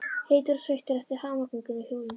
Heitur og sveittur eftir hamaganginn á hjólinu.